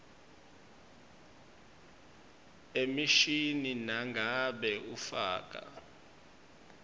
emishini nangabe ufaka